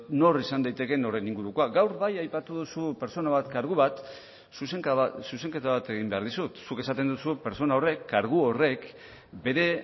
nor izan daitekeen horren ingurukoak gaur bai aipatu duzu pertsona bat kargu bat zuzenketa bat egin behar dizut zuk esaten duzu pertsona horrek kargu horrek bere